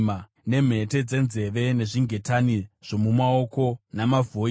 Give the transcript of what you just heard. nemhete dzenzeve, nezvingetani zvomumaoko, namavhoiri